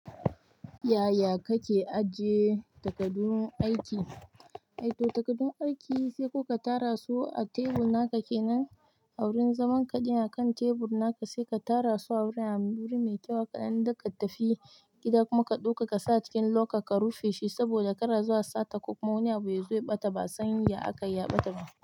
Ya, ya kake ajiye takardun aiki eh to takardun sai ko ka tara su a tebur na ka kenan a wurin zaman ka, yana kan tebur naka sai ka tara su a wuri mai kyau, haka nan in zaka tafi gida kuma ka ɗauka ka sa cikin loka ka rufe shi saboda kar a zo a sata ko kuma ya zo ya ɓata ba san ya akai ya ɓata.